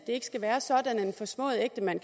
skal være sådan at en forsmået ægtemand